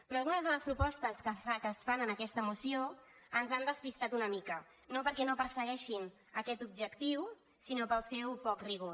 però algunes de les propostes que es fan en aquesta moció ens han despitat una mica no perquè no persegueixin aquest objectiu sinó pel seu poc rigor